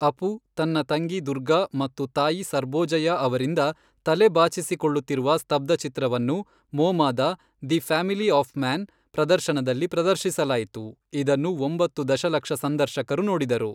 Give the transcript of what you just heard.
ಅಪು ತನ್ನ ತಂಗಿ ದುರ್ಗಾ ಮತ್ತು ತಾಯಿ ಸರ್ಬೋಜಯಾ ಅವರಿಂದ ತಲೆ ಬಾಚಿಸಿಕೊಳ್ಳುತ್ತಿರುವ ಸ್ತಬ್ದಚಿತ್ರವನ್ನು ಮೋಮಾದ, ದಿ ಫ್ಯಾಮಿಲಿ ಆಫ್ ಮ್ಯಾನ್, ಪ್ರದರ್ಶನದಲ್ಲಿ ಪ್ರದರ್ಶಿಸಲಾಯಿತು, ಇದನ್ನು ಒಂಬತ್ತು ದಶಲಕ್ಷ ಸಂದರ್ಶಕರು ನೋಡಿದರು.